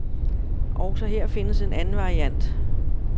Også her findes en anden variant.